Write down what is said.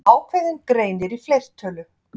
Ákveðinn greinir í fleirtölu.